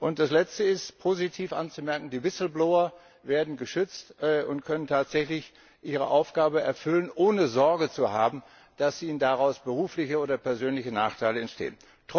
Und das Letzte, das positiv anzumerken ist Die whistleblower werden geschützt und können tatsächlich ihre Aufgabe erfüllen, ohne Sorge zu haben, dass ihnen daraus berufliche oder persönliche Nachteile entstehen.